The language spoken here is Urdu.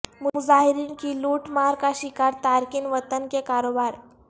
مظاہرین کی لوٹ مار کا شکار تارکین وطن کے کاروبار